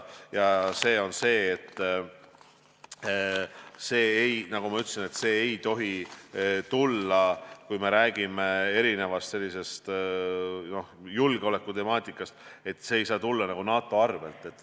See on see, et nagu ma ütlesin, kui me räägime erinevatest julgeolekuteemadest, siis see ei saa tulla nagu NATO arvel.